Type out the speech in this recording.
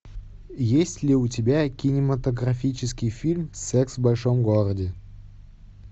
есть ли у тебя кинематографический фильм секс в большом городе